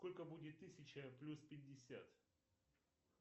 сколько будет тысяча плюс пятьдесят